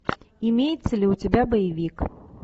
имеется ли у тебя боевик